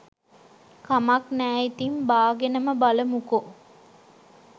කමක් නෑ ඉතින් බාගෙනම බලමුකෝ